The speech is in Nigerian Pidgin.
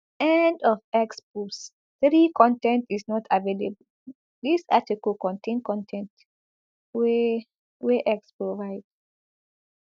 end of x post three con ten t is not available dis article contain con ten t wey wey x provide